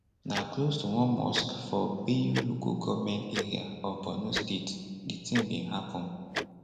na close to one mosque for biu local goment area of borno state di tin bin happun